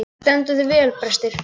Þú stendur þig vel, Brestir!